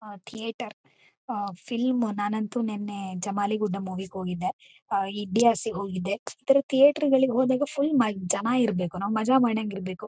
ಆ ಥೀಯೇಟರ್ ಆ ಫಿಲಂ ನಾನಂತೂ ನೆನ್ನೆ ಜಮಾ ಲಿ ಗುಡ್ಡ ಮೂವಿ ಗೆ. ಹೋಗಿದ್ದೆ ಐಡಿಯಾಸ್ ಗೆ ಹೋಗಿದ್ದೆ ಈ ತರಹ ಥೀಯೇಟರ್ ಗಳಿಗೆ ಹೋಗಿದ್ರು ಫುಲ್ ಜನ ಇರ್ಬೇಕು ಮಜಾ ಮಾಡಾಂಗ್ ಇರ್ಬೇಕು.